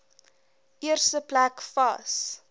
eerste plek vas